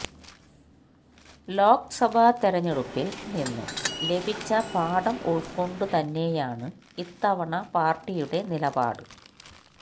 ലോക്സഭാ തെരഞ്ഞെടുപ്പില് നിന്നും ലഭിച്ച പാഠം ഉള്ക്കൊണ്ടു തന്നെയാണ് ഇത്തവണ പാര്ട്ടിയുടെ നിലപാട്